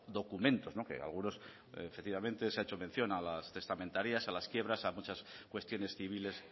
documentos que algunos efectivamente se ha hecho mención a las testamentarias a las quiebras a muchas cuestiones civiles